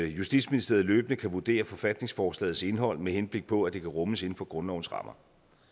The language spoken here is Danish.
justitsministeriet løbende kan vurdere forfatningsforslagets indhold med henblik på at det kan rummes inden for grundlovens rammer